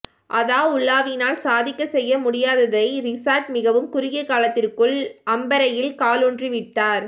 அதாவுல்லாவினால் சாதிக்க செய்ய முடியாததை றிஷாட் மிகவும் குறுகிய காலத்திற்குள் அம்பறையில் காலூன்றி விட்டார்